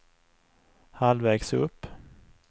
halvvägs upp